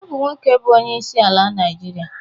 Ọ bụ Nwoke bu Onyeisi ala Naịjirịa.